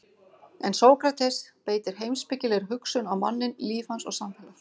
En Sókrates beitir heimspekilegri hugsun á manninn, líf hans og samfélag.